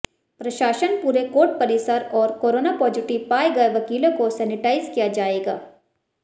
प्रशासन पूरे कोर्ट परिसर और कोरोना पॉजिटिव पाए गए वकीलों को सैनेटाइज किया जाएगज्ञ